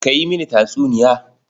Ka yi mini tatsuniya.